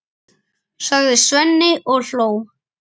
sagði Svenni og hló.